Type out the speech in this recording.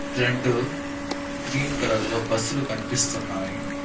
రెండు green colour లో బస్సులు కనిపిస్తున్నాయి.